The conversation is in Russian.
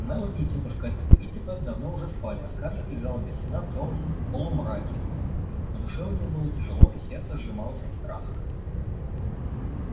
мелани и тётушка питтипэт давно уже спали а скарлетт лежала без сна в тёмном полумраке на душе у неё было тяжело и сердце сжималось от страха